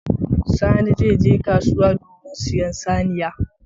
Sani zai je kasuwa domin sayen saniya.